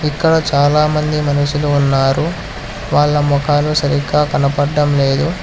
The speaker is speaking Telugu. ఇక్కడ చాలా మంది మనుషులు ఉన్నారు వాళ్ళ మొఖాలు సరిగ్గా కనపడ్డం లేదు.